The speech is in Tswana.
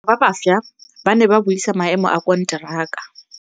Badiri ba baša ba ne ba buisa maêmô a konteraka.